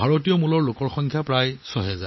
তেওঁলোক সকলোৱে নিজৰ উত্তৰাধিকাৰৰ বাবে গৌৰৱান্বিত